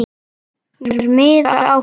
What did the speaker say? Mér miðar áfram.